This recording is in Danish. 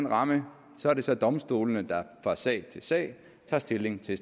rammer er det så domstolene der fra sag til sag tager stilling til